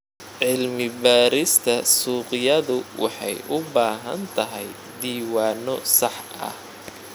Cilmi-baarista suuqyadu waxay u baahan tahay diiwaanno sax ah.